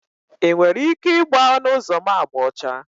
Ị nwere ike igba ọnụ ụzọ m agba ọcha?